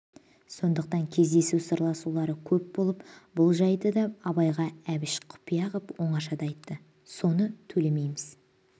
сондықтан кездесу сырласулары көп болыпты бұл жайды да абайға әбіш құпия қып оңашада айтты соны төлемейміз